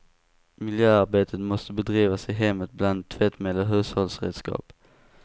Miljöarbetet måste bedrivas i hemmet bland tvättmedel och hushållsredskap.